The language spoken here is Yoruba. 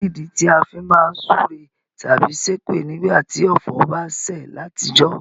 Kínìdí ti a fi má n súre tábí sépè nígbàtí ọ̀fọ̀ ba sẹ̀ látijọ́?